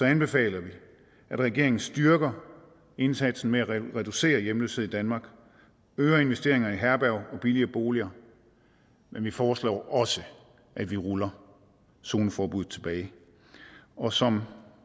anbefaler vi at regeringen styrker indsatsen med at reducere hjemløshed i danmark øger investeringerne i herberger og billigere boliger men vi foreslår også at vi ruller zoneforbuddet tilbage og som